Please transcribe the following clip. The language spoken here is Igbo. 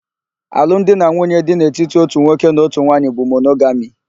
Alụ m di na nwunye dị n'etiti ótù nwoke na ótù nwaanyị bụ monogami.